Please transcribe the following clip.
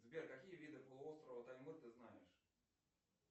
сбер какие виды полуострова таймыр ты знаешь